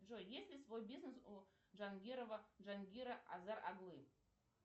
джой есть ли свой бизнес у джангирова джангира азар оглы